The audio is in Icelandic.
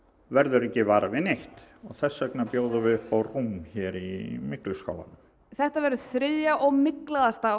verður ekki var við neitt og þess vegna bjóðum við upp á rúm í mygluskálanum þetta verður þriðja og